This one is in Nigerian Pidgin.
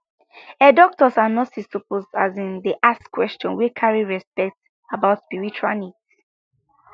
ehh doctors and nurses suppose asin dey ask questions wey carry respect about spiritual needs